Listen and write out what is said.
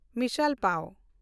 ᱢᱤᱥᱟᱞ ᱯᱟᱣ